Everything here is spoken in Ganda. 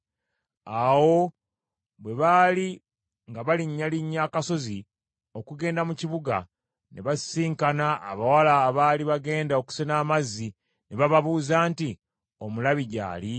Awo bwe baali nga balinnyalinnya akasozi okugenda mu kibuga ne basisinkana abawala abaali bagenda okusena amazzi, ne bababuuza nti, “Omulabi gy’ali?”